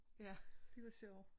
Ja de var sjove